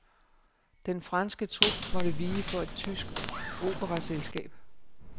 Den franske trup måtte vige for et tysk operaselskab.